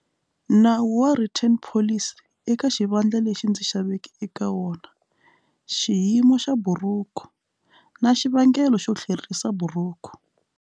Nawu wa written policy eka xivandla lexi ndzi xaveke eka wona xiyimo xa buruku na xivangelo xo tlherisa buruku.